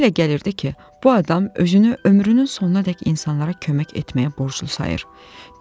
Mənə elə gəlirdi ki, bu adam özünü ömrünün sonunadək insanlara kömək etməyə borclu sayır.